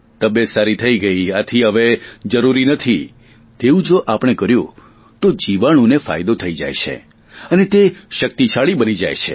તબિયત સારી થઇ ગઇ આથી હવે જરૂરી નથી તેવું જો આપણે કર્યું તો જીવાણુને ફાયદો થઈ જાય છે અને તે શક્તિશાળી બની જાય છે